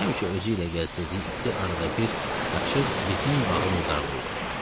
Həmişə özü ilə gəzdirdiyi iti arada bir qaçıb bizim bağı murdarlayırdı.